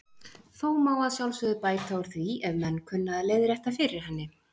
Þó má að sjálfsögðu bæta úr því ef menn kunna að leiðrétta fyrir henni.